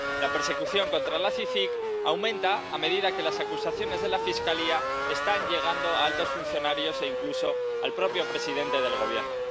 La persecución contra la CICIG aumenta a medida que las acusaciones de la Fiscalía están llegando a altos funcionarios e incluso al propio presidente del Gobierno.